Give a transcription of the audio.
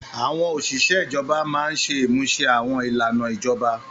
Àwọn òṣìṣẹ́ ijọba máa ń ṣe ìmúṣẹ àwọn ìlànà ìjọba.